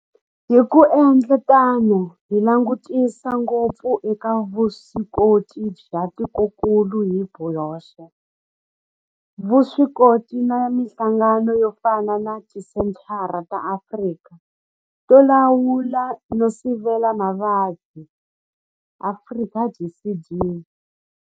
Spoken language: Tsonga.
Hi ku endla tano hi langutisa ngopfu eka vuswikoti bya tikokulu hi byoxe, vuswikoti na mihlangano yo fana na Tisenthara ta Afrika to Lawula no Sivela Mavabyi. Afrika DCD.